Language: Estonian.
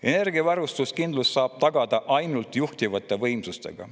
Energiavarustuskindlust saab tagada ainult juhitavate võimsustega.